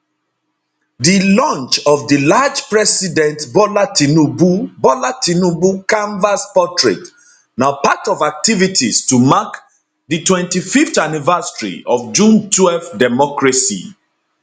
di launch of di large president bola tinubu bola tinubu canvas portrait na part of activities to mark di 25th anniversary of june twelve democracy